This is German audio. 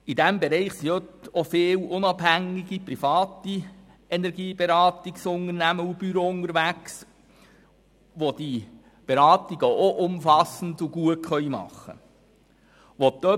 Hier sind viele unabhängige private Energieberatungsunternehmen und -büros unterwegs, die diese Beratungen ebenfalls umfassend und gut machen können.